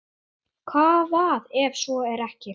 Hvað ef svo er ekki?